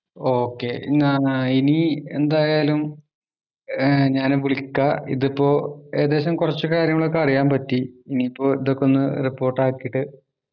okey ന്നാ ഇനി എന്തായാലും ആഹ് ഞാന് വിളിക്ക ഇതിപ്പോ ഏകദേശം കൊർച്ച് കാര്യങ്ങളൊക്കെ അറിയാൻ പറ്റി ഇനീപ്പോ ഇതൊക്കെ ഒന്ന് റിപ്പോർട്ട് അകീട്ട്